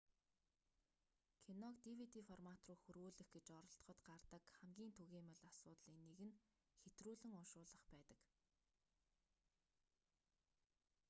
киног dvd формат руу хөрвүүлэх гэж оролдоход гардаг хамгийн түгээмэл асуудлын нэг нь хэтрүүлэн уншуулах байдаг